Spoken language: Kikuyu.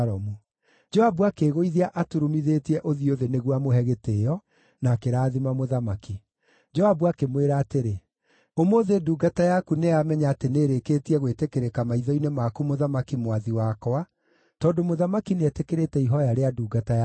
Joabu akĩĩgũithia aturumithĩtie ũthiũ thĩ nĩguo amũhe gĩtĩĩo, na akĩrathima mũthamaki. Joabu akĩmwĩra atĩrĩ, “Ũmũthĩ ndungata yaku nĩyamenya atĩ nĩĩrĩkĩtie gwĩtĩkĩrĩka maitho-inĩ maku mũthamaki mwathi wakwa, tondũ mũthamaki nĩetĩkĩrĩte ihooya rĩa ndungata yake.”